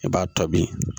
I b'a to bin